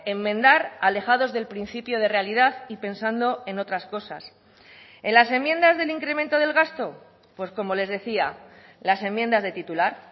enmendar alejados del principio de realidad y pensando en otras cosas en las enmiendas del incremento del gasto pues como les decía las enmiendas de titular